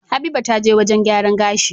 Habiba taje wajan gyaran gashi